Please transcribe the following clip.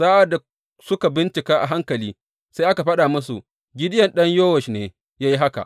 Sa’ad da suka bincika a hankali, sai aka faɗa musu, Gideyon ɗan Yowash ne ya yi haka.